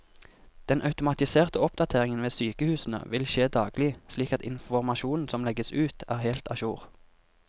Den automatiserte oppdateringen ved sykehusene vil skje daglig, slik at informasjonen som legges ut er helt a jour.